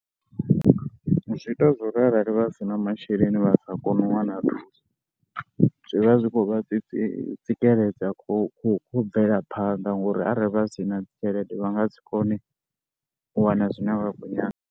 Zwi ita zwo ri arali vha si na masheleni vha sa kone u wana thuso, zwi vha zwi khou vha tsi tsikeledza khou u bvelaphanḓa ngori arali vha si na tshelede vha nga si kone u wana zwine vha kho nyaga.